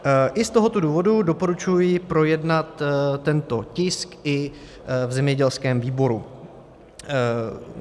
I z tohoto důvodu doporučuji projednat tento tisk i v zemědělském výboru.